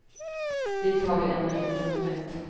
Dit har vi ännu inte hunnit.